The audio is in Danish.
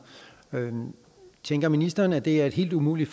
tænker ministeren at det er helt umuligt